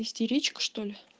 истеричка что ли